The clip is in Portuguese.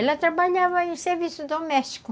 Ela trabalhava em serviço doméstico.